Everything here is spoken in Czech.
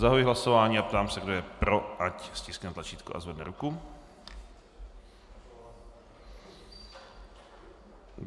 Zahajuji hlasování a ptám se, kdo je pro, ať stiskne tlačítko a zvedne ruku.